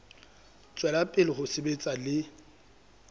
tswela pele ho sebetsa le